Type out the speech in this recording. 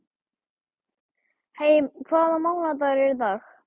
Mey, hvaða mánaðardagur er í dag?